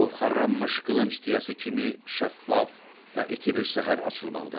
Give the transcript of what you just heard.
Ovxarlanmış qılınc tiyəsi kimi şəffaf və iti bir səhər açılmaqdadır.